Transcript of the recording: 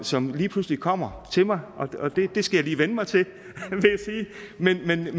som lige pludselig kommer til mig og det skal jeg lige vænne mig til vil jeg